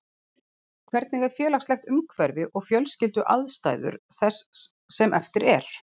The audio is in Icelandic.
Hvernig er félagslegt umhverfi og fjölskylduaðstæður þess sem eftir er?